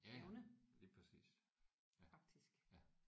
Ja ja lige præcis ja ja